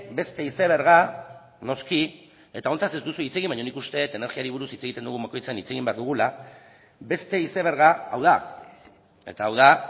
beste izeberga noski eta honetaz ez duzu hitz egin baina nik uste dut energiari buruz hitz egiten dugun bakoitzean hitz egin behar dugula beste izeberga hau da eta hau da